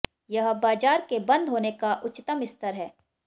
यह बाजार के बंद होने का उच्चतम स्तर है